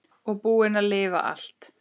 Og búin að lifa allt.